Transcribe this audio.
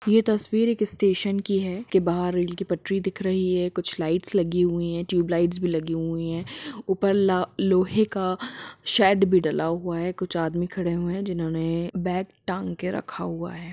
यह तस्वीर एक स्टेशन की है कि बाहर रेल की पटरी दिख रही है कुछ लाइट्स लगी हुई है ट्यूबलाइट भी लगी हुई है ऊपर लोहे का शेड भी डाला हुआ है कुछ आदमी खड़े हुए हैं जिन्होंने बैग टांग के रखा हुआ है।